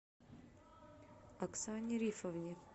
оксане рифовне